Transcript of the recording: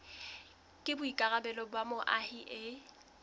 ke boikarabelo ba moahi e